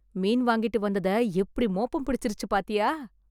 மீன் வாங்கிட்டு வந்தத எப்படி மோப்பம் பிடிச்சுச்சுருச்சு பாத்தியா.